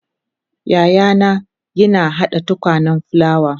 yayana yina hada tukunyan fulawa